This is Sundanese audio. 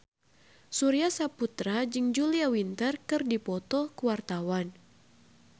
Surya Saputra jeung Julia Winter keur dipoto ku wartawan